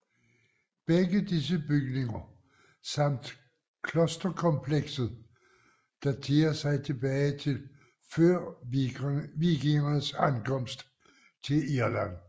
Begge disse bygninger samt klosterkomplekset daterer sig tilbage til før vikingernes ankomst til Irland